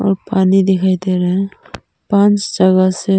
और पानी दिखाई दे रहा है पांच जगह से।